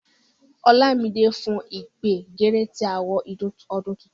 Olamide blew the trumpet immediately we entered into the new year.